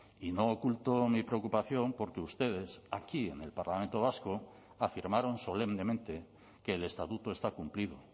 y no oculto mi preocupación por que ustedes aquí en el parlamento vasco afirmaron solemnemente que el estatuto está cumplido